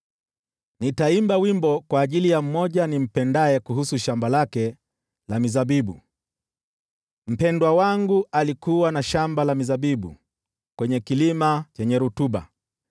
Nitaimba wimbo kwa ajili ya mmoja nimpendaye, kuhusu shamba lake la mizabibu: Mpendwa wangu alikuwa na shamba la mizabibu kwenye kilima chenye rutuba.